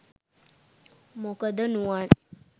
මොකද නුවන්